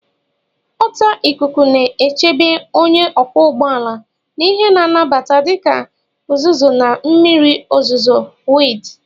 Ọta ikuku na-echebe onye ọkwọ ụgbọ ala na ihe na-abata dịka uzuzu na mmiri ozuzo wdg